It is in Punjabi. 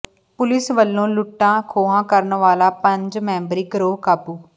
ਪੁਲਿਸ ਵੱਲੋਂ ਲੁੱਟਾਂ ਖੋਹਾਂ ਕਰਨ ਵਾਲਾ ਪੰਜ ਮੈਂਬਰੀ ਗਰੋਹ ਕਾਬੂ